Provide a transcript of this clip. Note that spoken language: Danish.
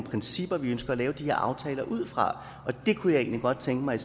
principper vi ønsker at lave de her aftaler ud fra og det kunne jeg egentlig godt tænke mig